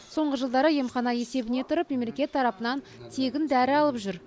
соңғы жылдары емхана есебіне тұрып мемлекет тарапынан тегін дәрі алып жүр